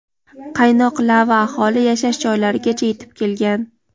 Qaynoq lava aholi yashash joylarigacha yetib kelgan.